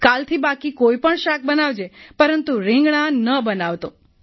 કાલથી બાકી કોઈપણ શાક બનાવજે પરંતુ રિંગણાં ન બનાવતો